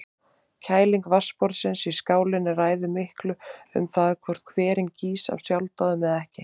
Kæling vatnsborðsins í skálinni ræður miklu um það hvort hverinn gýs af sjálfsdáðum eða ekki.